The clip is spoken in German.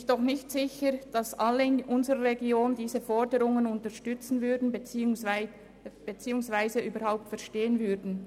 Ich bin nicht sicher, ob alle in unserer Region diese Motion unterstützen beziehungsweise diese überhaupt verstehen würden.